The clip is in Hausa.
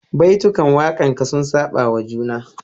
Baitukan wakanka sun saba wa juna